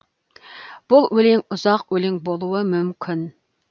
бұл өлең ұзақ өлең болуы мүмкін